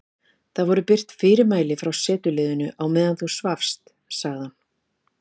Það voru birt fyrirmæli frá setuliðinu á meðan þú svafst sagði hann.